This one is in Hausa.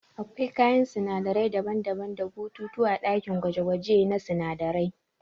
Akwai kayan sinadarai daban-daban da bututu ã dakin gwaje-gwaje na sunadarai.